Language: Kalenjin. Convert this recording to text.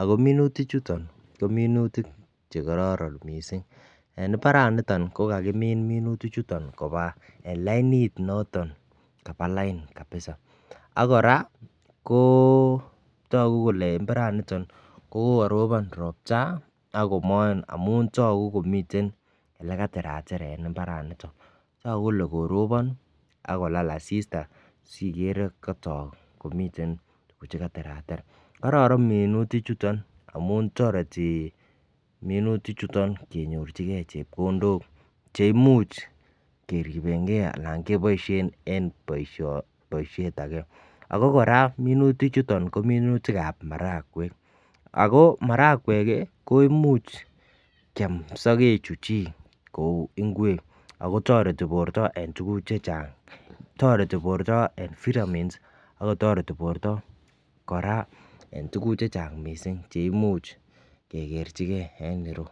ako minutik chuton kominutik chekororon missing. En imbaraniton ko kakimin minutik chuton koba en lainit noto kaba lain kapisa ak Koraa koo toku kole imbaraniton ko kokoropon ropta akomoe amun toku komiten lekataratar en imbaraniton, toku kole koropon ak kolal asista sikere kotok komiten chekaterater. Kororon minutik chuton amun toreti minutik chuton kenyorchigee chepkondok cheimuch keribengee anan keboishen en boisho boishet age ako Koraa minutik chuton ko minutikab marawek ako marakwek kii ko imuch kiam sokek chuu chik kou ingwek ako toreti borto en tukuk chechang. Toretii borto en vitamins akotoreti borto Koraa en tukuk chechang missing cheimuch kekerchigee en iroyuu.